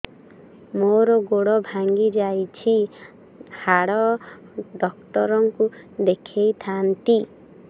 ମୋର ଗୋଡ ଭାଙ୍ଗି ଯାଇଛି ହାଡ ଡକ୍ଟର ଙ୍କୁ ଦେଖେଇ ଥାନ୍ତି